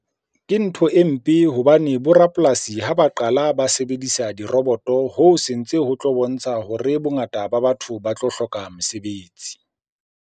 Ke ntho e mpe hobane bo rapolasi ha ba qala ba sebedisa diroboto. Hoo se ntse ho tlo bontsha hore bongata ba batho ba tlo hloka mosebetsi.